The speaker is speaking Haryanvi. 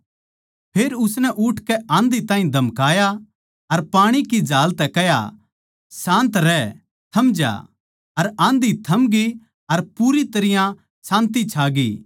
फेर उसनै उठकै आँधी ताहीं धमकाया अर पाणी की झाल तै कह्या शांत रहै थम ज्या अर आँधी थमगी अर पूरी तरियां शान्ति छागी